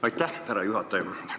Aitäh, härra juhataja!